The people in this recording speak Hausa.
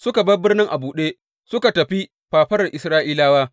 Suka bar birnin a buɗe, suka tafi fafarar Isra’ilawa.